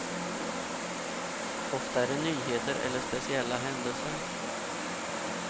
Ofta är det nyheter eller speciella händelser.